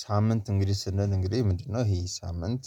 ሳምንት እንግዲህ ስንል እንግዲህ ምንድነው ይሄ ሳምንት